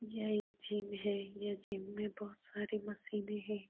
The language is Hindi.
यह एक जिम है। यह जिम में बहुत सारी मशीने है।